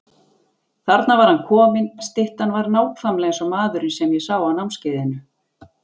Þarna var hann kominn, styttan var nákvæmlega eins og maðurinn sem ég sá á námskeiðinu.